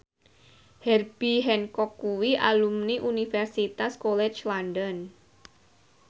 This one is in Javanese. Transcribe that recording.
Herbie Hancock kuwi alumni Universitas College London